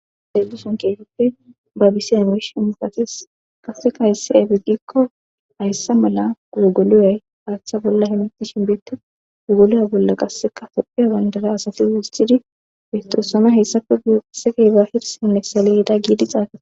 heluson keetippe babisiya imish mifasis qasseka hayssi efigikko hayssa mala gugoloyay haatha bolla hemeti shinbeetti gogoloya bolla qasseka tophiya bandara asati wistidi beestosoma hessafe guu qassefeeba hirsinne saliyeda giidi xaaqae